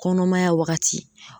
Kɔnɔmaya wagati